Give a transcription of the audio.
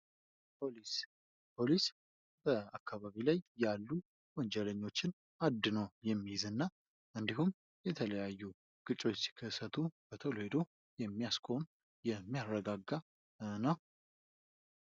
ፖሊስ፦ ፖሊስ፦ በአካባቢ ላይ ያሉ ወንጀለኞችን አድኖ የሚይዝና እንድሁም የተለያዩ ግጭቶች ሲከሰቱ በቶሎ ሂድ የሚያስቆም የሚያረጋጋ ነው።